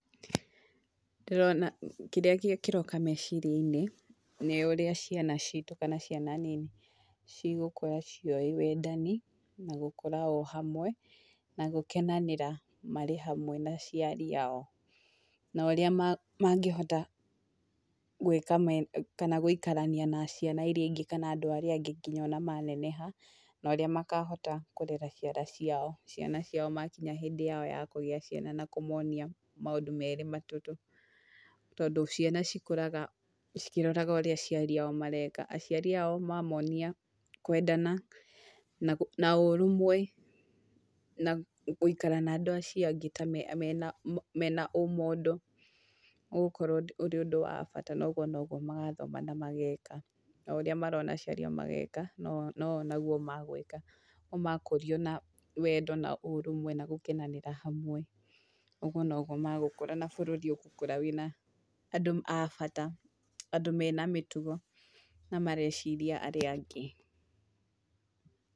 Ndĩrona kĩrĩa kĩroka meciria-inĩ, nĩ ũrĩa ciana citũ kana ciana nini cigũkũra ciũwĩ wendani, na gũkũra o hamwe, na gũkenanĩra marĩ hamwe na aciari ao, na ũrĩa mangĩhota gwĩka, kana gũikarania na ciana iria ingĩ kana andũ arĩa angĩ nginya ona maneneha, na ũrĩa makahota kũrera ciana ciao, ciana ciao makinya hindĩ yao ya kũgĩa ciana na kũmonia maũndũ merĩ matatũ, tondũ ciana cikũraga cikĩroraga ũrĩa aciari ao mareka, aciari ao mamonia kwendana na ũrũmwe na gũikara na andũ acio angĩ ta mena mena ũmũndũ, ũgũkorwo ũrĩ ũndũ wa bata na ũguo noguo magathoma na mageka na ũrĩa marona aciari ao mareka nao noguo magwĩka, o makũrio na wendo na ũrũmwe na gũkenanĩra hamwe, ũguo noguo magũkũra na bũrũri ũgũkũra wĩ na andũ a bata, andũ mena mĩtugo na mareciria arĩa angĩ.